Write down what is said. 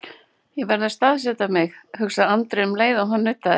Ég verð að staðsetja mig, hugsaði Andri um leið og hann nuddaði.